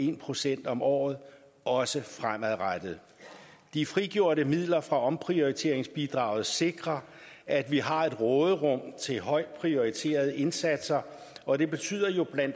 en procent om året også fremadrettet de frigjorte midler fra omprioriteringsbidraget sikrer at vi har et råderum til højt prioriterede indsatser og det betyder jo bla